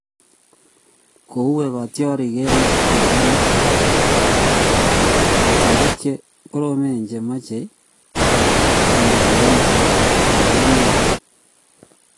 Kouei kotiorik eng bitonin: Kotiorik che koromen che machei komanda 'eng makeet ne oo '